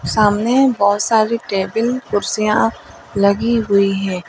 सामने बहोत सारी टेबिल कुर्सियां लगी हुई है।